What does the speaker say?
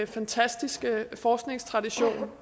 fantastiske forskningstradition